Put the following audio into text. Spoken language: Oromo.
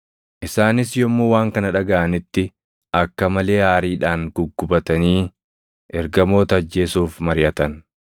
Isaanis yommuu waan kana dhagaʼanitti akka malee aariidhaan guggubatanii ergamoota ajjeesuuf mariʼatan.